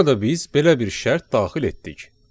Burada biz belə bir şərt daxil etdik.